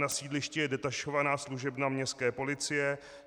Na sídlišti je detašovaná služebna městské policie.